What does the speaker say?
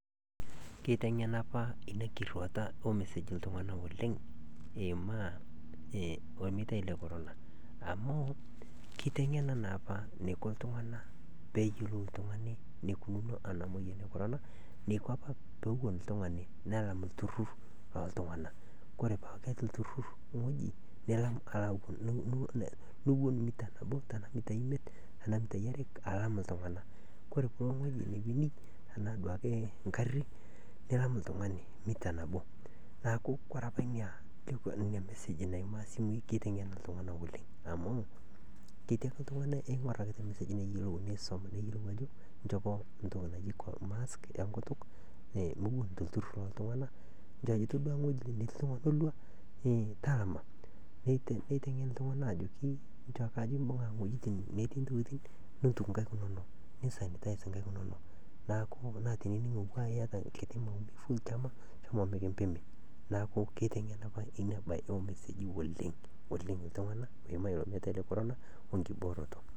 Kwitengena apa omusiki iltungana oleng eimaa olmitai the korona amu keitengena naa aapa neiko iltungani peeyiolou iltungani neikununo ana moyian ekorona. Ore ena baye naa esia oolotorok, ore ena naa nturoto oo lotorok. Ore oshii laramatak loo lotorok aisidai oleng te nkopang, amuu entoki edukuya etii lotorok enkopang naleng, neaku entoki anii natumoi te leleki, ore entoki nayeu naaji nieta peetumoki ataasa ena siaii naa enkidong',ore ena kidong' ino keyeu sii nieta enkare amu eok oshi lotorok enkare, nipik enkidong' ino atua entim aikaki ake iye olchani ake iye ata lemeya duo oleng, neponu naa lotorok aajing' netii sii enkare amuu keyau naa enkare lotorok, naa ore piitum naisho enyee naa kintaki enaisho sapuk nimirr nitum impisaii kumok.